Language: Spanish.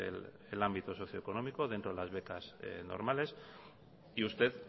ámbito socioeconómico dentro de las becas normales y usted